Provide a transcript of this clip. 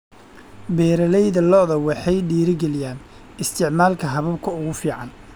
Beeralayda lo'da waxay dhiirigeliyaan isticmaalka hababka ugu fiican.